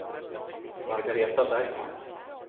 Margaretha Bergman